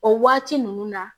O waati ninnu na